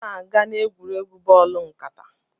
M na-aga n'egwuregwu bọọlụ nkata